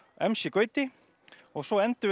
m c Gauti og svo endum við